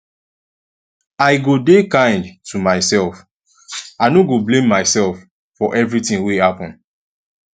i go dey kind to myself i no go blame myself for everytin wey happen